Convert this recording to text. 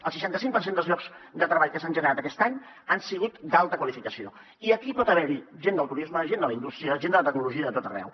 el seixanta cinc per cent dels llocs de treball que s’han generat aquest any han sigut d’alta qualificació i aquí pot haver hi gent del turisme gent de la indústria gent de la tecnologia de tot arreu